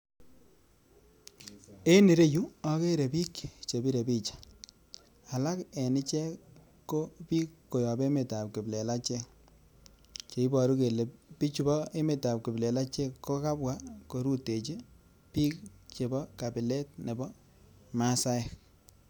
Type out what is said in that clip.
En ireyuu okere bik chebire picha alak en ichek ko bik koyop emet ab kiplelechek cheiboru kele bichu bo emet ab kipleleche kokabwa korutechi bik chebo kabile nebo masaek.